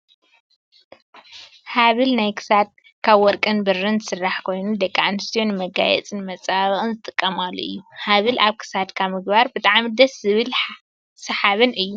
ሃበል ናይ ክሳድ ካብ ወርቅን ብርን ዝስራሕ ኮይኑ ፣ ደቂ ኣንስትዮ ንመጋየፂን ንመፀባበቅን ዝጥቀማሉ እዩ። ሃበል ኣብ ክሳድካ ምግባር ብጣዕሚ ደስ ዝብልን ሳሓብን እዩ።